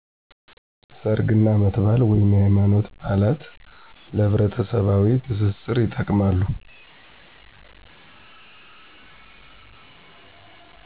ሠርግ እና አመት ባል/የሀይማኖት በአላት ለህብረተሠባዊ ትስስር ይጠቅማሉ።